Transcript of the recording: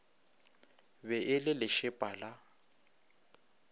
be e le lešepa la